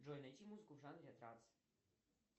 джой найти музыку в жанре транс